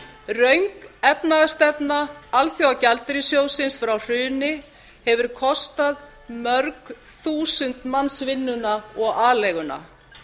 röng efnahagsstefna alþjóðagjaldeyrissjóðsins frá hruni hefur kostað mörg þúsund manns vinnuna og aleiguna